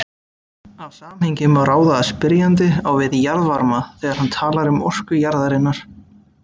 Af samhengi má ráða að spyrjandi á við jarðvarma þegar hann talar um orku jarðarinnar.